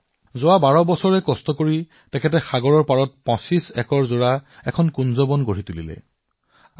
তেওঁ ১২ বছৰ বন্ধুসকল ১২ বছৰ গাঁৱৰ বাহিৰত সাগৰৰ কাষত ২৫ একৰ ভূমিত পৰিশ্ৰম কৰি মেনগ্ৰোভৰ বনাঞ্চল গঢ়ি তুলিলে